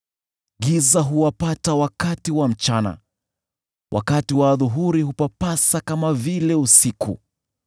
Giza huwapata wakati wa mchana; wakati wa adhuhuri hupapasa kama vile usiku.